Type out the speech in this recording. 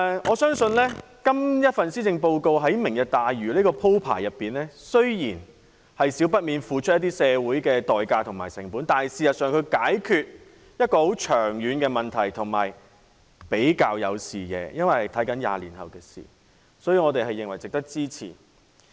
我相信這份施政報告提出的"明日大嶼"計劃，雖然不免要社會付出成本，但事實上在解決一個長遠的問題，也比較有視野，因為着眼的是20年後的事，所以我們認為值得支持。